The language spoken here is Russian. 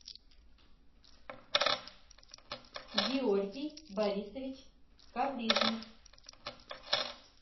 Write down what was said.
георгий борисович коврижных